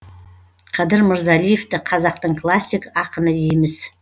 қадыр мырзалиевті қазақтың классик ақыны дейміз